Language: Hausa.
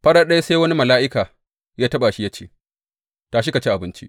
Farat ɗaya sai wani mala’ika ya taɓa shi, ya ce, Tashi ka ci abinci.